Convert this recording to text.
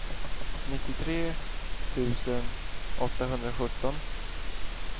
nittiotre tusen åttahundrasjutton